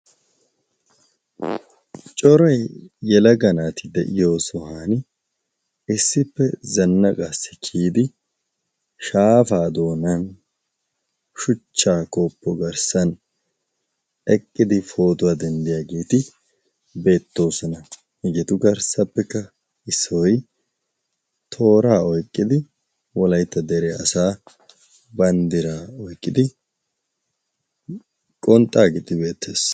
Cora yelaga naati de'iyo sohan issippe zanna gaassikkiyidi shaapaa doonan shuchchaa kooppo garssan eqqidi pootuwaa denddiyaageeti beettoosana. higeetu garssappekka issoy tooraa oiqqidi wolaytta dere asaa banddiraa oiqqidi qonxxaa giddi beettees.